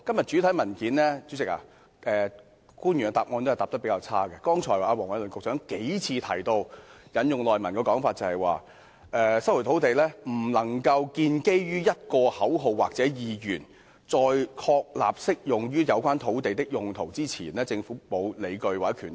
主席，官員的答覆比較差，我引述剛才黃偉綸局長的主體答覆："引用《收回土地條例》不可能建基於一個口號或意願；在確立適用於有關土地的'公共用途'之前，政府並無理據及權力......